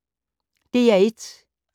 DR1